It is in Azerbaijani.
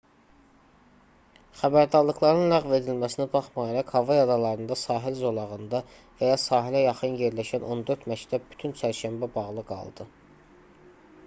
xəbərdarlıqların ləğv edilməsinə baxmayaraq havay adalarında sahil zolağında və ya sahilə yaxın yerləşən on dörd məktəb bütün çərşənbə bağlı qaldı